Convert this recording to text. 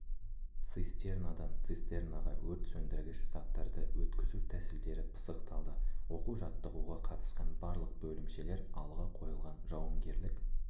цистернадан цистернаға өрт сөндіргіш заттарды өткізу тәсілдері пысықталды оқу-жаттығуға қатысқан барлық бөлімшелер алға қойылған жауынгерлік